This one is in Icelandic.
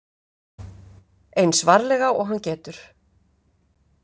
Eins varlega og hann getur.